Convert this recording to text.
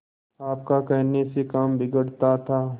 आपका कहने से काम बिगड़ता था